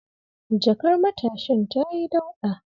Jakar matashin tayi dauɗa.